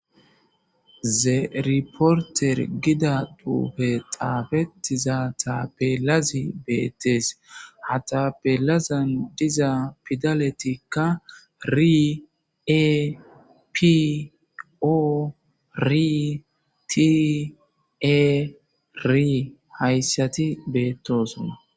ze reporteri gidda xufeyi xafetidayiss bettes. ha tapelazi diza pidaletika r,e p,o,r,,t,e ,r hayisati betossona.